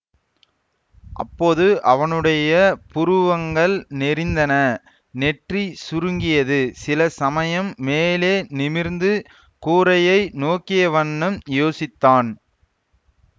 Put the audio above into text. அப்போது அவனுடைய புருவங்கள் நெரிந்தன நெற்றி சுருங்கியது சில சமயம் மேலே நிமிர்ந்து கூரையை நோக்கியவண்ணம் யோசித்தான்